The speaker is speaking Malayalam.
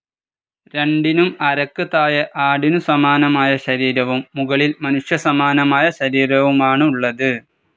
രണ്ടിനും അരക്ക് താഴെ ആടിനു സമാനമായ ശരീരവും മുകളിൽ മനുഷ്യ സമാനമായ ശരീരവുമാണുള്ളത്.